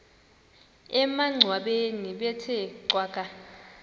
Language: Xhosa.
emangcwabeni bethe cwaka